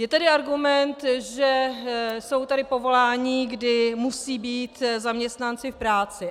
Je tady argument, že tady jsou povolání, kdy musí být zaměstnanci v práci.